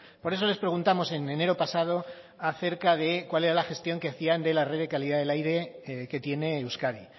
por eso les preguntamos en enero pasado acerca de cuál era la gestión que hacían de la red de calidad del aire que tiene euskadi